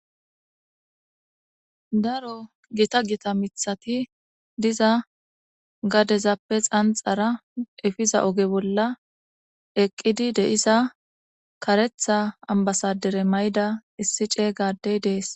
Daro gita gita mithati diza gadezappe xanxara efiza oge bolla eqqidi de7iza kareththa ambasaaddere ma7ida issi ceega addey dees.